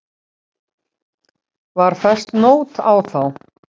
Var fest nót á þá.